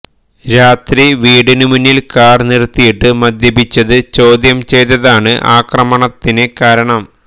രാത്രി വീടിന് മുന്നില് കാര് നിര്ത്തിയിട്ട് മദ്യപിച്ചത് ചോദ്യം ചെയ്തതാണ് അക്രമത്തിന് കാരണം